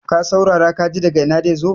ka saurara ka ji daga Ina zai zo?